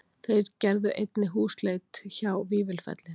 Þeir gerðu einnig húsleit hjá Vífilfelli